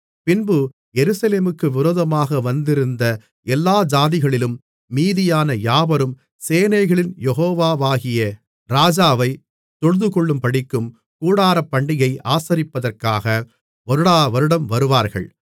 பின்பு எருசலேமுக்கு விரோதமாக வந்திருந்த எல்லா ஜாதிகளிலும் மீதியான யாவரும் சேனைகளின் யெகோவாகிய ராஜாவைத் தொழுதுகொள்ளும்படிக்கும் கூடாரப்பண்டிகையை ஆசரிப்பதற்காக வருடாவருடம் வருவார்கள்